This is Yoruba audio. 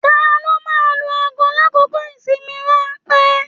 Taló máa n lu aago l'akoko ìsinmi ranpẹ̀?